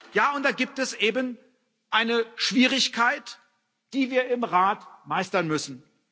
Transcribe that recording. Ja, und da gibt es eben eine Schwierigkeit, die wir im Rat meistern müssen.